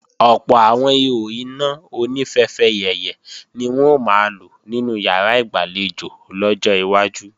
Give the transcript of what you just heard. Ọ̀pọ̀ àwọn ihò iná oní fẹfẹyẹ̀yẹ̀ ni wọn ó máa lò nínú ìyàrá ìgbàlejò lọ́jọ́ iwájú